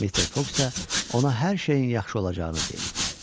Mister Foks isə ona hər şeyin yaxşı olacağını deyirdi.